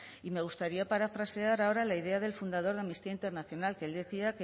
y me gustaría parafrasear ahora la idea del fundador de amnistía internacional que él decía